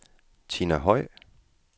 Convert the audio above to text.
Tina Høj